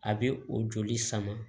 A bɛ o joli sama